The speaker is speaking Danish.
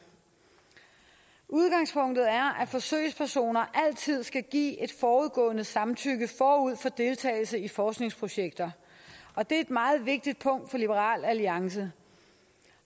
udgangspunktet er at forsøgspersoner altid skal give et forudgående samtykke forud for deltagelse i forskningsprojekter og det er et meget vigtigt punkt for liberal alliance